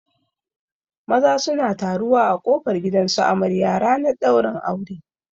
Maza suna taruwa a kofar gidan su amarya ranar ɗaurin aure